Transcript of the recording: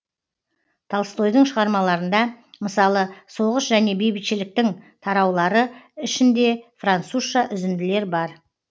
толстойдың шығармаларында мысалы соғыс және бейбітшіліктің тараулары ішінде французша үзінділер бар